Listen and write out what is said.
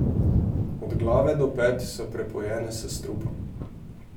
Od glave do pet so prepojene s strupom.